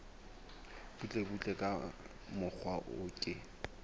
butlebutle ka mokgwa o ke